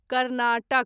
Karnataka